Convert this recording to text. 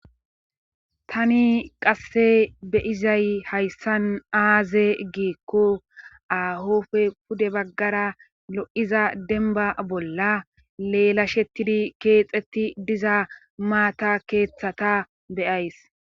Tani qasse beyizay hayssan aaze giekko ahofe pude baggara lo7iza denba bolla leela shettidi keexeti diza maata keeththata beyays.